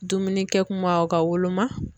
Dumunikɛ kuma ka woloma.